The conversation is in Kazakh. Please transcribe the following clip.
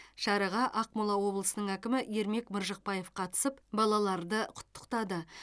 шараға ақмола облысының әкімі ермек маржықпаев қатысып балаларды құттықтады